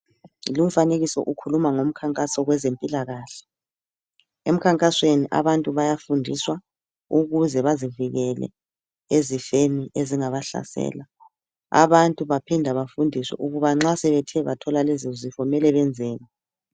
Lumfanekiso ukhuluma ngomkhankaso wezempilakahle emkhankasweni abantu bayafundiswa ukuze bazivikele ezifeni ezingabahlasela abantu baphinda bafundiswa ukuba nxa sebethe bathola lezi zifo mele benzeni.